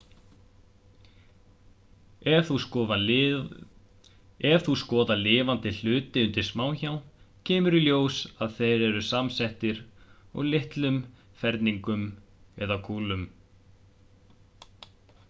ef þú skoðar lifandi hluti undir smásjá kemur í ljós að þeir eru samsettir úr litlum ferningum eða kúlum